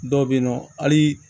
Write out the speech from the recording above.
Dɔw be yen nɔ hali